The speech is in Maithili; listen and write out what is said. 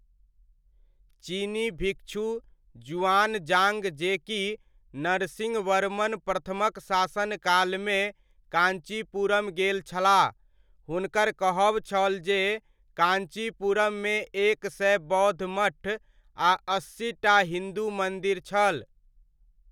चीनी भिक्षु जुआनजाड़्ग, जे कि नरसिंहवर्मन प्रथमक शासनकाल मे काञ्चीपुरम गेल छलाह, हुनकर कहब छल जे, काञ्चीपुरममे एक सए बौद्ध मठ, आ अस्सीटा हिन्दू मन्दिर छल।